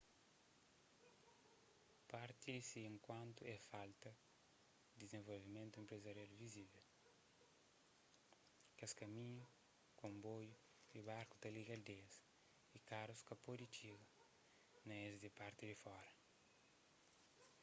parti di se enkantu é falta di dizenvolvimentu enprezarial vizivel kes kaminhu konboiu y barku ta liga aldeias y karus ka pode txiga na es di parti di fora